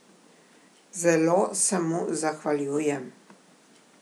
Zelo se mu zahvaljujem.